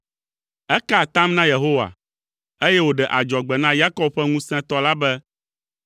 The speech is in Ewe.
Eka atam na Yehowa, eye wòɖe adzɔgbe na Yakob ƒe Ŋusẽtɔ la be,